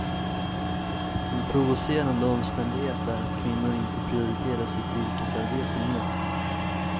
En provocerande omständighet är att kvinnor inte prioriterar sitt yrkesarbete mer.